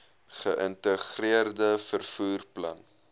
geïntegreerde vervoer plan